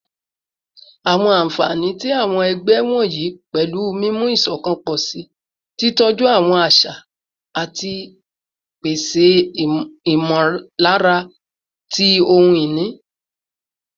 Awọn anfani ti awọn ẹgbẹ wọnyi pẹlu mimu iṣọkan pọ si, titọju awọn aṣa, ati pese imọlara ti ohun-ini